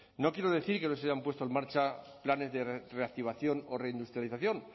no quiero decir que no se hayan puesto en marcha planes de reactivación o reindustrialización